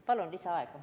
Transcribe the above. Palun lisaaega!